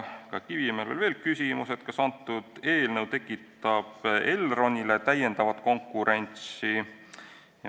Ka Kivimägil oli veel küsimus, kas eelnõu tekitab Elronile täiendavat konkurentsi.